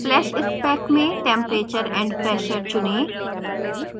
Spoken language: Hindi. flash spec में temperature and pressure tp चुनें